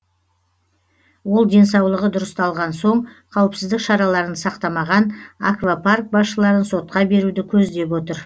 ол денсаулығы дұрысталған соң қауіпсіздік шараларын сақтамаған аквапарк басшыларын сотқа беруді көздеп отыр